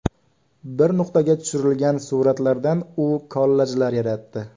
Bir nuqtadan tushirilgan suratlardan u kollajlar yaratdi.